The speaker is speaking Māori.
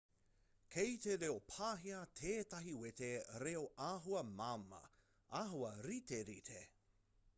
kei te reo pāhia tētahi wete reo āhua māmā āhua riterite